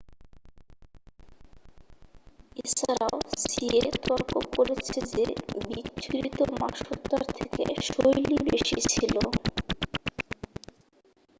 এছাড়াও সিয়েহ তর্ক করেছে যে বিচ্ছুরিত মা সত্ত্বার থেকে শৈলী বেশি ছিল